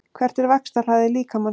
Hver er vaxtarhraði líkamans?